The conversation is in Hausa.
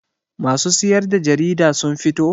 Masu siyar da jarida sun fito?